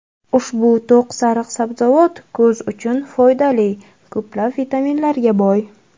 Ushbu to‘q sariq sabzavot ko‘z uchun foydali ko‘plab vitaminlarga boy.